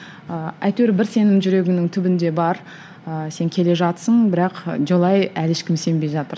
ыыы әйтеуір бір сенің жүрегіңнің түбінде бар ыыы сен келе жатырсың бірақ жолай әлі ешкім сенбей жатыр